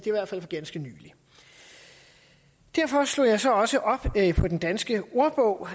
i hvert fald for ganske nylig derfor slog jeg så også op på den danske ordbog